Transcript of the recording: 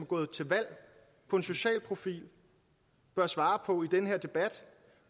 gået til valg på en social profil bør svare på i den her debat